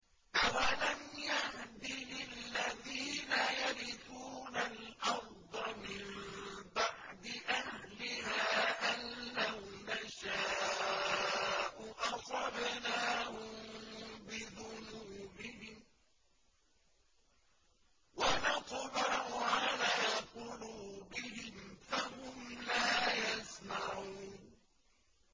أَوَلَمْ يَهْدِ لِلَّذِينَ يَرِثُونَ الْأَرْضَ مِن بَعْدِ أَهْلِهَا أَن لَّوْ نَشَاءُ أَصَبْنَاهُم بِذُنُوبِهِمْ ۚ وَنَطْبَعُ عَلَىٰ قُلُوبِهِمْ فَهُمْ لَا يَسْمَعُونَ